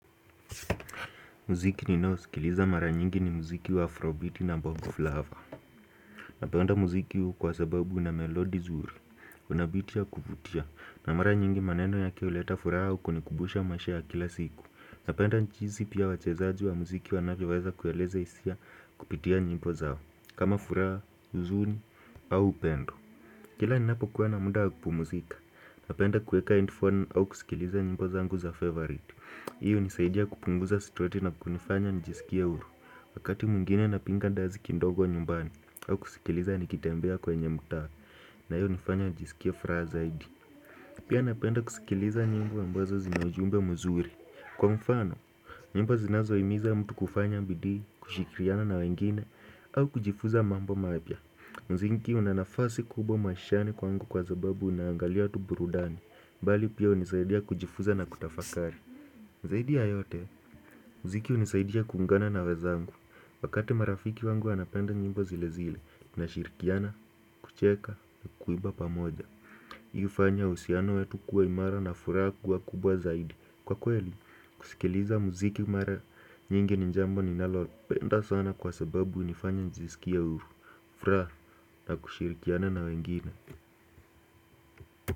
Muziki ni naosikiliza mara nyingi ni muziki wa Afrobeat na Bongo flava Napenda muziki huu kwa sababu u na melodi zuri Unabiti ya kuvutia na mara nyingi maneno ya ke uleta furaha au kunikubusha maisha kila siku Napenda jinzi pia wachezaji wa muziki wanavyoweza kueleza isia kupitia nyimbo zao kama furaha, uzuni, au upendo Kila ni napo kuwa na muda wakupu muzika Napenda kueka handphone au kusikiliza nyimbo za ngu za favorit Hii hunisaidia kupunguza situati na kunifanya nijisikia uru Wakati mwingine na pinga dazi kindogo wa nyumbani au kusikiliza nikitembea kwenye mta na hiyo hunifanya nijisikie furaha zaidi Pia napenda kusikiliza njimbo ambazo zinaujumbe muzuri Kwa mfano, nyimbo zinazo imiza mtu kufanya bidi, kushikiriana na wengine au kujifuza mambo mapya Mzinki unanafasi kubwa maishane kwangu kwa zababu unangalia tu burudani mbali pia unisaidia kujifunza na kutafakari Zaidi ya yote, muziki unisaidia kuungana na wezangu, wakati marafiki wangu wanapenda nyimbo zile zile, tunashirkiana, kucheka, kuiba pamoja. Hi hufanya uhusiano wetu kuwa imara na fura kuwa kubwa zaidi. Kwa kweli, kusikiliza muziki mara nyingi ninjambo ninalopenda sana kwa sababu unifanya njisikia uru, fura na kushirikiana na wengine.